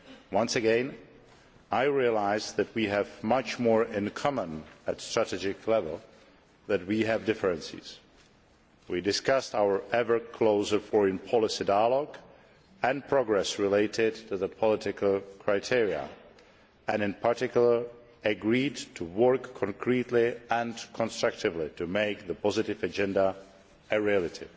Once again, I realised that we have much more in common at strategic level than there are differences. We discussed our ever closer foreign policy dialogue and progress related to the political criteria and agreed in particular to work concretely and constructively to make the positive agenda a reality.